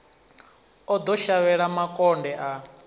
o ḓo shavhela makonde a